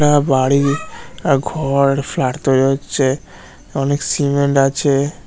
এটা বাড়ি এ ঘর ফ্ল্যাট তৈরি হচ্ছে অনেক সিমেন্ট আছে ।